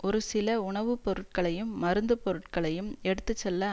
ஒரு சில உணவு பொருட்களையும் மருந்துப் பொருட்களையும் எடுத்து செல்ல